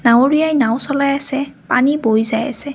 নাৱৰীয়াই নাওঁ চলাই আছে পানী বৈ যায় আছে।